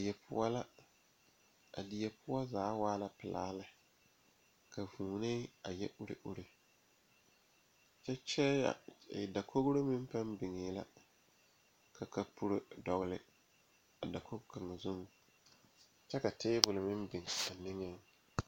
Die poɔ la a die poɔ zaa waa la pelaa lɛ ka vūūnee a yɛ uri uri kyɛ kyɛɛya dakoge meŋ paŋ biŋee la ka kapuro dɔgle a dakoge kaŋa zuŋ kyɛ ka tabole meŋ biŋ a niŋeŋ.